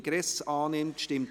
EG AIG und AsylG